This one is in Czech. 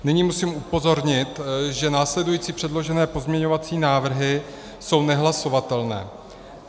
Nyní musím upozornit, že následující předložené pozměňovací návrhy jsou nehlasovatelné.